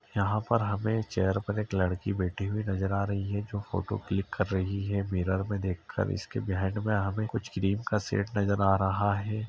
यहाँं पर हमें चेयर पर एक लड़की बैठी हुई नजर आ रही है जो फोटो क्लिक कर रही है मिरर में देखकर इसके बिहाइंड में हमें कुछ क्रीम का सेट नजर आ रहा है।